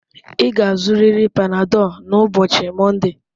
Ị ga-azụrịrị Panadol n'ụbọchị Mọnde